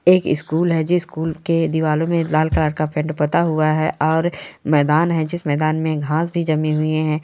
एक स्कूल है जे स्कूल के दीवारो मे लाल कलर का पेंट पुता हुआ है और मैदान है जिस मैदान मे घास भी जमी हुई है।